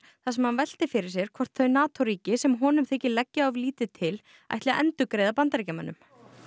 þar sem hann velti fyrir sér hvort þau NATO ríki sem honum þykir leggja of lítið til ætli að endurgreiða Bandaríkjamönnum